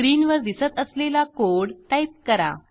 स्क्रीनवर दिसत असलेला कोड टाईप करा